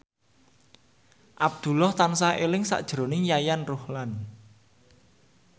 Abdullah tansah eling sakjroning Yayan Ruhlan